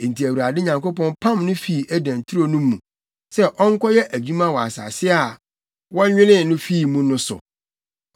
Enti Awurade Nyankopɔn pam no fii Eden turo no mu sɛ ɔnkɔyɛ adwuma wɔ asase a wɔnwenee no fii mu no so.